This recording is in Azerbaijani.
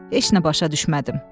Heç nə başa düşmədim.